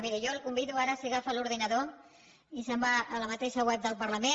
miri jo el convido ara si agafa l’ordinador i se’n va a la mateixa web del parlament